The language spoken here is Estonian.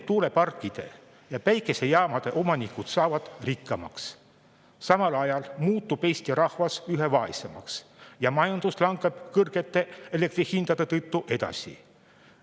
Tuuleparkide ja päikesejaamade omanikud saavad rikkamaks, samal ajal muutub Eesti rahvas üha vaesemaks ja majandus langeb kõrgete elektri hindade tõttu edasi.